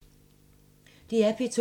DR P2